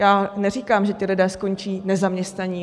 Já neříkám, že ti lidé skončí nezaměstnaní.